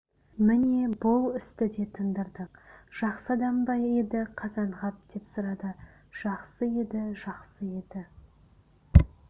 міне бұл істі де тындырдық жақсы адам ба еді қазанғап деп сұрады жақсы еді жақсы еді